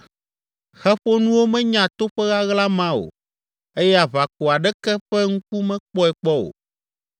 Xe ƒonuwo menya toƒe ɣaɣla ma o eye aʋako aɖeke ƒe ŋku mekpɔe kpɔ o